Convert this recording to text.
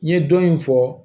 N ye dɔ in fɔ